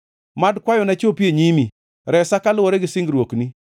Mad kwayona chopi e nyimi, resa kaluwore gi singruokni.